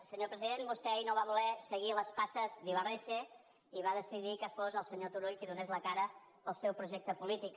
senyor president vostè ahir no va voler seguir les passes d’ibarretxe i va decidir que fos el senyor turull qui donés la cara pel seu projecte polític